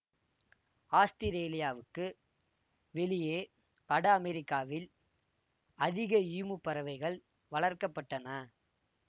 ஆஸ்திரேலியாவுக்கு வெளியே வட அமெரிக்காவில் அதிக ஈமு பறவைகள் வளர்க்க பட்டன